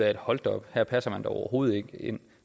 at hold da op her passer man overhovedet ikke ind